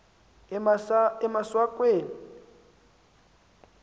emaswakeni